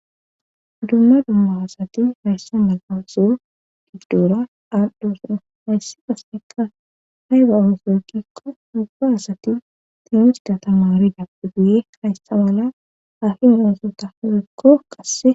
dumma dumma asati hayssa mala oso gibdora aadhdho suna hayssi pasneka hay ba oosoykikko ubba asati tenusida tamaaridaphugiye hayssa mala afin onsota hirekko qasse